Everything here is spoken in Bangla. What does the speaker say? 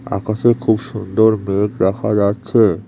আকাশে খুব সুন্দর মেঘ দেখা যাচ্ছে।